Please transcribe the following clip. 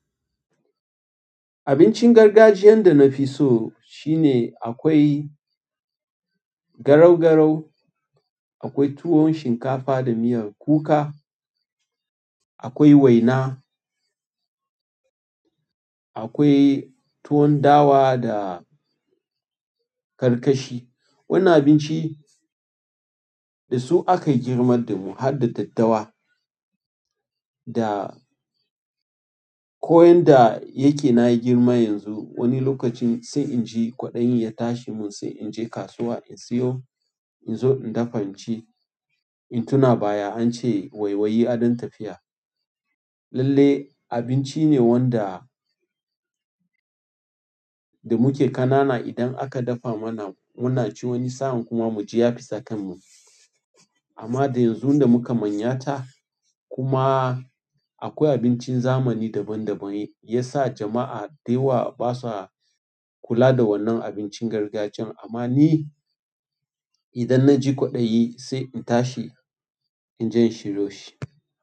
Abincin gargajiyan da na fi so shine akwai garau-garau, akwai tuwon shinkafa da miyar kuka, akwai waina, akwai tuwon dawa da karkashi. Wannan abinci da su aka girmar da mu har da daddawa. Da ko yanda yake na girma yanzu, wani lokacin sai in ji kwaɗayin ya tashi mun sai in je kasuwa in siyo, in zo in dafa in ci. In tuna baya an ce waiwayi adon tafiya. Lalle abinci ne wanda da muke ƙanana idan aka dafa mana muna ci wani sa'an kuma mu ji ya fita kan mu. Amma da yanzu da muka manyata kuma akwai abincin zamani daban daban ya sa jama'a da yawa basa kula da wannan abincin gargajiyan. Amma ni idan na ji kwaɗayi sai in tashi in je in shiryo shi.